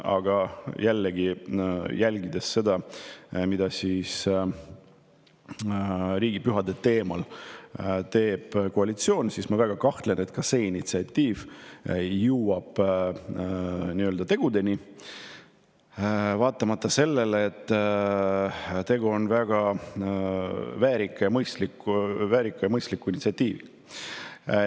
Aga jällegi, kui jälgida, mida teeb koalitsioon riigipühade teemal, siis ma väga kahtlen, et ka see initsiatiiv tegudeni jõuab, vaatamata sellele, et tegu on väga väärika ja mõistliku initsiatiiviga.